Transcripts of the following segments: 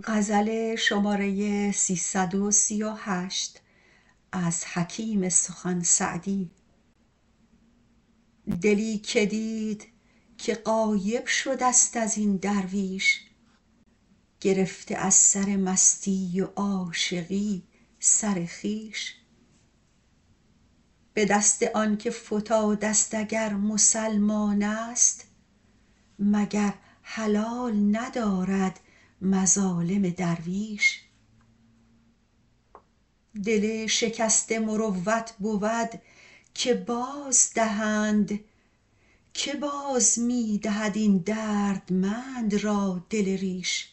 دلی که دید که غایب شده ست از این درویش گرفته از سر مستی و عاشقی سر خویش به دست آن که فتاده ست اگر مسلمان است مگر حلال ندارد مظالم درویش دل شکسته مروت بود که بازدهند که باز می دهد این دردمند را دل ریش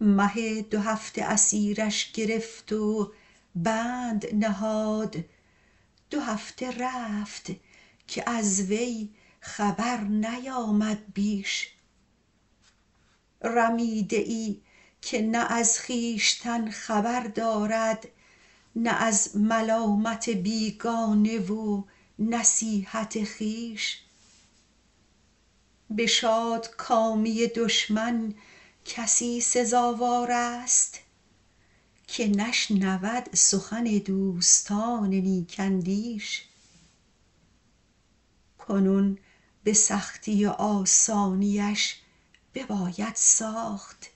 مه دوهفته اسیرش گرفت و بند نهاد دو هفته رفت که از وی خبر نیامد بیش رمیده ای که نه از خویشتن خبر دارد نه از ملامت بیگانه و نصیحت خویش به شادکامی دشمن کسی سزاوار است که نشنود سخن دوستان نیک اندیش کنون به سختی و آسانیش بباید ساخت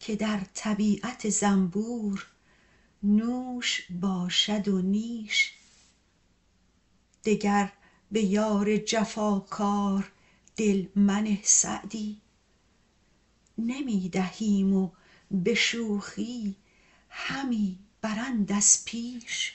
که در طبیعت زنبور نوش باشد و نیش دگر به یار جفاکار دل منه سعدی نمی دهیم و به شوخی همی برند از پیش